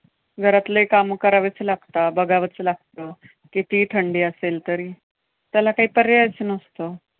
घरातले कामं करावेच लागता, बघावंच लागतं, कितीही थंडी असेल तरी. त्याला काही पर्यायच नसतो.